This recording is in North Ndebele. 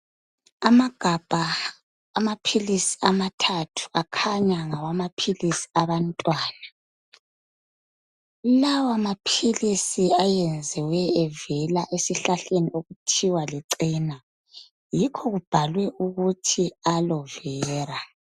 Amagabha amaphilisi amathathu akhanya ngawamaphilisi abantwana. Lawamaphilisi enziwe evela esihlahleni okuthiwa licena yikho kubhalwe ukuthi aloe vera.